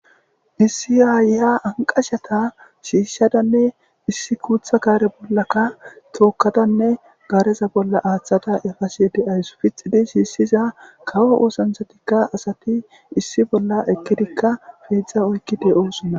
issi aayya anqashata shiishshadanne issi kuutha gaare bollaka tookkadanne gaareza bolla aaththada efase de7ays pixidi shiissiza kawo oosanthatikka asati issi bolla ekkidikka fiidzdza oykki de7osonna